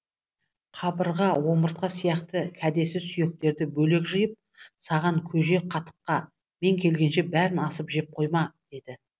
қабырға омыртқа сияқты кәдесіз сүйектерді бөлек жиып саған көже қатыққа мен келгенше бәрін асып жеп қойма деді